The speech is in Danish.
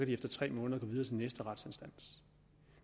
de efter tre måneder gå videre til næste retsinstans